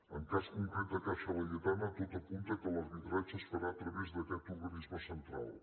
en el cas concret de caixa laietana tot apunta que l’arbitratge es farà a través d’aquest organisme central